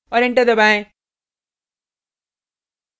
और enter दबाएँ